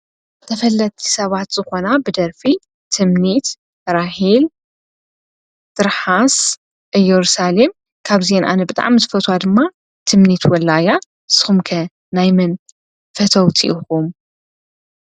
ተፈለቲ ሰባት ዝኾና ብደርፊ ትምኒት፣ ራሄል ፣ጥርሓስን ኢየሩሳሌም ካብዘን ኣነ ብጣዕሚ ዝፈትወን ድማ ትምኒት ወላይ አያ፡፡ ንስኹም ከ ናይ መን ፈተውቲ እኹም?